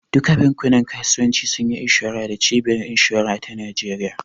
Duka bankunan kasuwanci sunyi inshora da cibiyar inshora ta Nijeriya